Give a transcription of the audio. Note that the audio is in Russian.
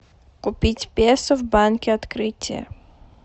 купить песо в банке открытие